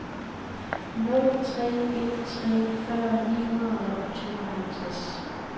nul tre en tre fyrre ni hundrede og tooghalvtreds